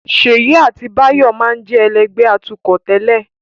Ṣèyí àti Báyọ̀ máa ń jẹ́ ẹlẹ́gbẹ̀ẹ́ atukọ̀ tẹ́lẹ̀